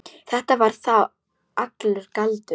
Þetta var þá allur galdur.